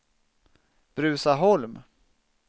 Bruzaholm